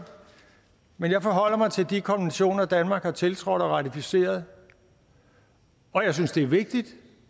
men jeg forholder mig til de konventioner danmark har tiltrådt og ratificeret og jeg synes det er vigtigt